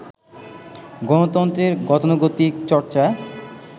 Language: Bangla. গণতন্ত্রের গতানুগতিক চর্চা